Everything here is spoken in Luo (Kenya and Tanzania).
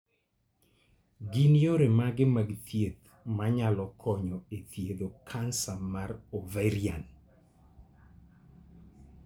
Gin yore mage mag thieth manyalo konyo e thiedho kansa mar ovarian?